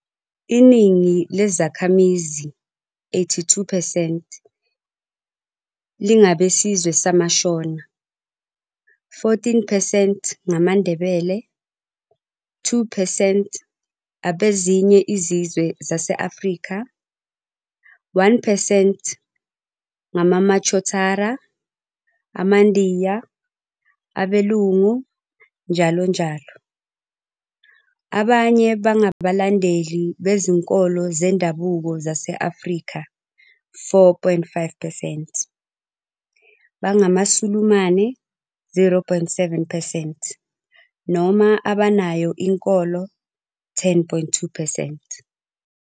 Iningi lezakhamizi, 82 percent, lingabesizwe samaShona, 14 percent ngamaNdebele, 2 percent abezinye izizwe zase-Afrika, 1 percent ngamaMachotara, amaNdiya, abeLungu, njll. Abanye bangabalandeli bezinkolo zendabuko zase-Afrika, 4.5 percent, bangamaSulumane, 0.7 percent, noma abanayo inkolo, 10.2 percent.